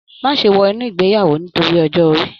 Má ṣe wọ inú ìgbéyàwó nítorí ọjọ́ orí